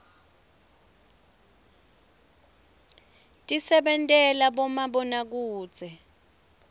tisentela bomabonakudze